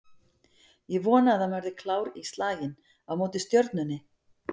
Ég vona að hann verði klár í slaginn á móti Stjörnunni